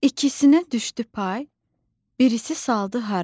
İkisinə düşdü pay, birisi saldı haray.